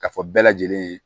Ka fɔ bɛɛ lajɛlen ye